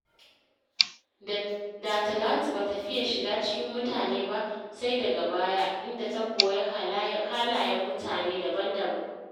Da Talatu ba ta fiya shiga cikin mutane ba, sai daga baya, inda ta koyi halayen mutane daban-daban.